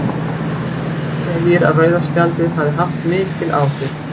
Guðmundur segir að rauða spjaldið hafi haft mikil áhrif.